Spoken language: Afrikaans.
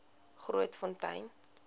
grootfontein